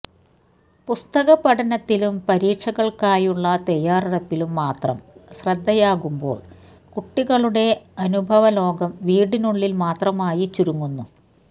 പുസ്തകപഠനത്തിലും പരീക്ഷകൾക്കായുള്ള തയാറെടുപ്പിലും മാത്രം ശ്രദ്ധയാകുമ്പോൾ കുട്ടികളുടെ അനുഭവലോകം വീട്ടിനുള്ളിൽ മാത്രമായി ചുരുങ്ങുന്നു